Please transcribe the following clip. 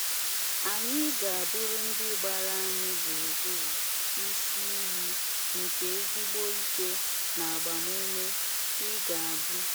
Anyị ga - abụrụ ndị gbara anyị gburugburu isi iyi nke ezIgbo ike na agbamume .i ga abu